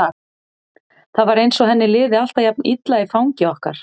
Það var eins og henni liði alltaf jafn illa í fangi okkar.